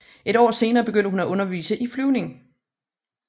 Et år senere begyndte hun at undervise i flyvning